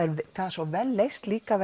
svo vel leyst líka